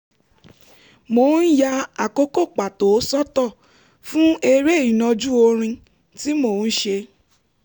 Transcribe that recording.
mò ń ya àkókò pàtó sọ́tọ̀ fún eré ìnàjú orin tí mò ń ṣe